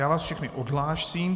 Já vás všechny odhlásím.